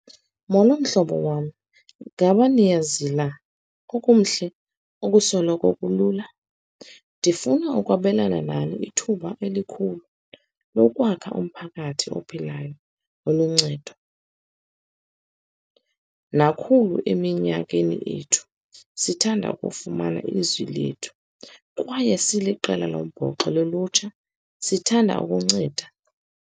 Molo, mhlobo wam. Ngaba niyazila okumhle okusoloko kulula. Ndifuna ukwabelana nani ithuba elikhulu lokwakha umphakathi ophilayo, oluncedo nakhulu. Eminyakeni ethu, sithanda ukufumana ilizwi lethu, kwaye siliqela lombhoxo lolutsha, sithanda ukunceda.